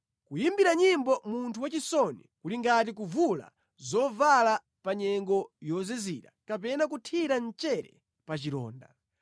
Kuyimbira nyimbo munthu wachisoni kuli ngati kuvula zovala pa nyengo yozizira kapena kuthira mchere pa chilonda.